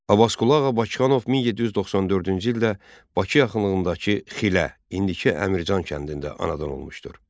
Abbasqulu Ağa Bakıxanov 1794-cü ildə Bakı yaxınlığındakı Xilə, indiki Əmircan kəndində anadan olmuşdur.